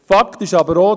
Fakt ist aber auch: